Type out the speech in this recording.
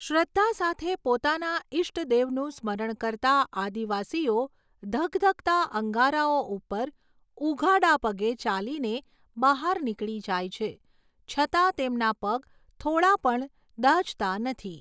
શ્રદ્ધા સાથે પોતાના ઇષ્ટદેવનું સ્મરણ કરતા આદિવાસીઓ ધગધગતા અંગારાઓ ઉપર ઉઘાડા પગે ચાલીને બહાર નીકળી જાય છે છતાં તેમના પગ થોડા પણ દાઝતા નથી.